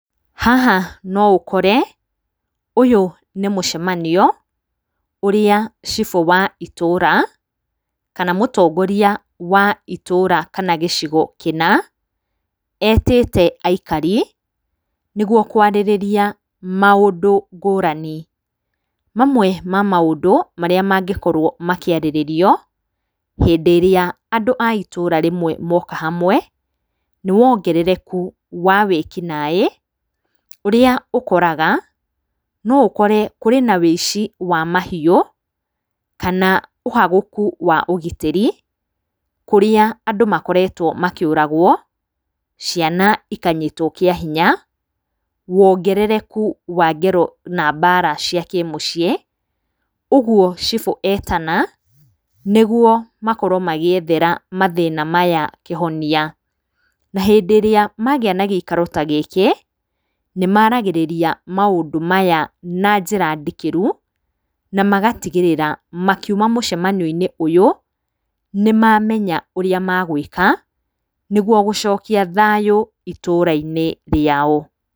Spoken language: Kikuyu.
Haha no ũkore ũyũ nĩ mũcemanio ũrĩa cibũ wa itũra kana mũtongoria wa itũra kana gĩcigo kĩna, etĩte aikari nĩguo kwarĩrĩria maũndũ ngũrani. Mamwe ma maũndũ marĩa mangĩkorwo makĩarĩrĩrio hĩndĩ ĩrĩa andũ a itũra rĩmwe moka hamwe, nĩ wongerereku wa wĩki naĩ, ũrĩa ũkoraga no ũkore kũrĩ na ũici wa mahiũ, kana ũhagũku wa ũgitĩri kũrĩa andũ makoretwo makĩũragwo, ciana ikanyitwo kĩa hinya, wongerereku wa ngero na mbara cia kĩmũciĩ. Ũguo cibũ etena, nĩguo makorwo magĩethera mathĩna maya kĩhonia. Na hĩndĩ ĩrĩa magĩa na gĩikaro ta gĩkĩ nĩmaragĩrĩria maũndũ maya na njĩra ndikĩru na magatigĩrĩra makiuma mũcemenio-inĩ ũyũ nĩmamenya ũrĩa magwĩka, nĩguo gũcokia thayũ itũra-inĩ rĩao.